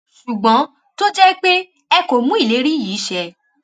ṣùgbọn tó jẹ pé ẹ kò mú ìlérí yìí ṣẹ